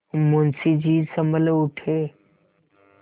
मुंशी जी सँभल उठे